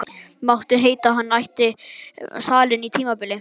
Mátti heita að hann ætti salinn á tímabili.